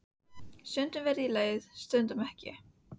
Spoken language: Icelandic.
Stundum verð ég leið stundum ekki.